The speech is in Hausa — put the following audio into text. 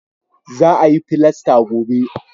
Za a yi filasta gobe